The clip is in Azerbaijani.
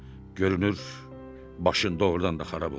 Görünür, başın doğurdan da xarab olub.